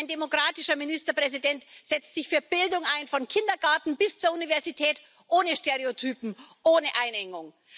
Ein demokratischer Ministerpräsident setzt sich für Bildung ein, vom Kindergarten bis zur Universität, ohne Stereotype, ohne Einengung.